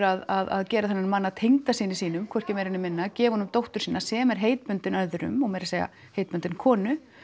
að gera þennan mann að tengdasyni sínum hvorki meira né minna gefa honum dóttur sína sem er heitbundin öðrum og meira segja heitbundin konu